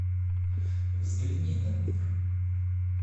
взгляни на мир